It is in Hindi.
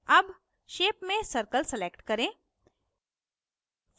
अब shape में circle select करें